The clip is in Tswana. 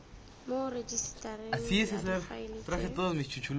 mo rejisetareng ya difaele tse